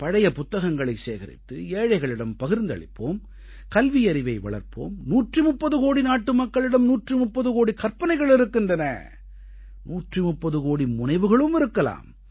பழைய புத்தகங்களை சேகரித்து ஏழைகளிடம் பகிர்ந்தளிப்போம் கல்வியறிவை வளர்ப்போம் 130 கோடி நாட்டுமக்களிடம் 130 கோடிக் கற்பனைகள் இருக்கின்றன 130 கோடி முனைவுகளும் இருக்கலாம்